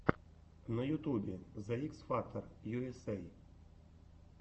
на ютубе зе икс фактор ю эс эй